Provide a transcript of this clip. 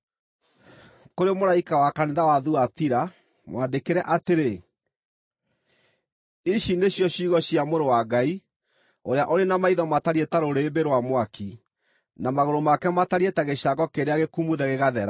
“Kũrĩ mũraika wa kanitha wa Thuatira, mwandĩkĩre atĩrĩ: Ici nĩcio ciugo cia Mũrũ wa Ngai, ũrĩa ũrĩ na maitho matariĩ ta rũrĩrĩmbĩ rwa mwaki, na magũrũ make matariĩ ta gĩcango kĩrĩa gĩkumuthe gĩgathera.